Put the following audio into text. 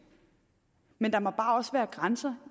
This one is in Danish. men der må bare også være grænser